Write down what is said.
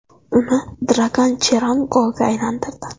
Uni Dragan Cheran golga aylantirdi.